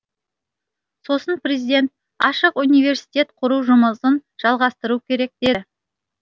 сосын президент ашық университет құру жұмысын жалғастыру керек деді